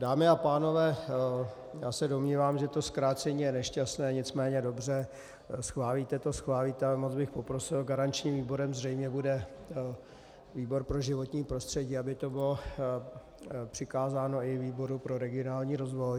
Dámy a pánové, já se domnívám, že to zkrácení je nešťastné, nicméně dobře, schválíte to, schválíte, ale moc bych poprosil, garančním výborem zřejmě bude výbor pro životní prostředí, aby to bylo přikázáno i výboru pro regionální rozvoj.